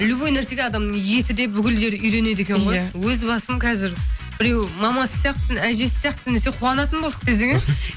любой нәрсеге адамның есі де бүкіл жері үйренеді екен ғой өз басым қазірбіреу мамасы сияқтысың әжесі сияқтысың десе қуанатын болдық десең ә